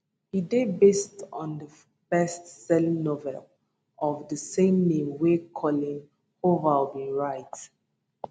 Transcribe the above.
e dey based on best selling novel of di same name wey coleen hoover bin write